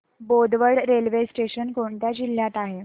Bodwad railway station कोणत्या जिल्ह्यात आहे